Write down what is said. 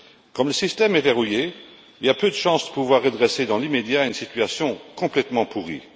Comme le système est verrouillé, il y a peu de chance de pouvoir redresser dans l'immédiat une situation complètement pourrie.